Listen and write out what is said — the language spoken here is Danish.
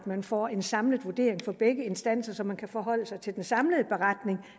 man får en samlet vurdering fra begge instanser så man kan forholde sig til den samlede beretning